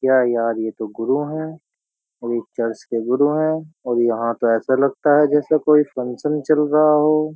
क्या यार ये तो गुरु है और ये चर्च के गुरु हैं और यहां तो ऐसा लगता है जैसे कोई फंक्शन चल रहा हो।